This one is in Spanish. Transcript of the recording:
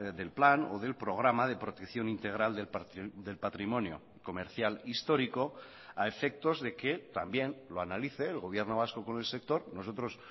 del plan o del programa de protección integral del patrimonio comercial histórico a efectos de que también lo analice el gobierno vasco con el sector nosotros